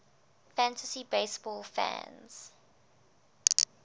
fantasy baseball fans